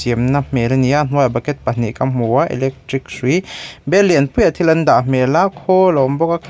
na hmel ani a hnuaiah bucket pahnih ka hmu a electric hrui bel lian pui ah thil an dah hmel a khawl a awm bawk a--